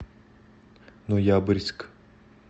ноябрьск